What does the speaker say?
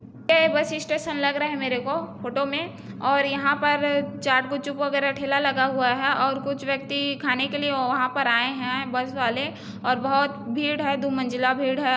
ये bus station लग रहा है मेरे को फोटो में और यहाँ पर चाट-गुपचुप वगैरा ठेला लगा हुआ है और कुछ व्यक्ति खाने के लिया वहा पर आया है बस वाले और बहुत भीड़ है दो मंजिला भीड़ है।